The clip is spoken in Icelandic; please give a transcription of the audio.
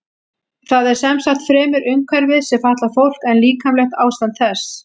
Það er sem sagt fremur umhverfið sem fatlar fólk en líkamlegt ástand þess.